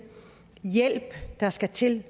hjælp der skal til